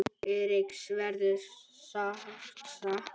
Eiríks verður sárt saknað.